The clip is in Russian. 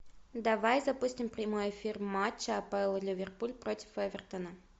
давай запустим прямой эфир матча апл ливерпуль против эвертона